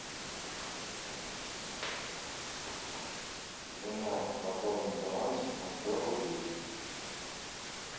жена пополнить баланс на сто рублей